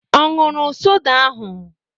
Ọ ṅụrụ soda ahụ?